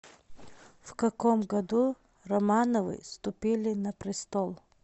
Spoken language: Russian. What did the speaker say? в каком году романовы вступили на престол